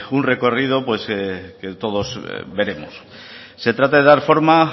un recorrido que todos veremos se trata de dar forma